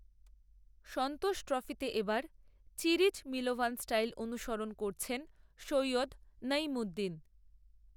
সন্তোষ ট্রফিতে এ বার চিরিচ মিলোভান স্টাইল অনুসরণ করছেন সৈয়দ নঈমুদ্দিন